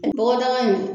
Bɔgɔdaga in